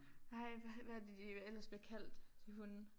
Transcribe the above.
Hej hvad hvad er det de ellers bliver kaldt de hunde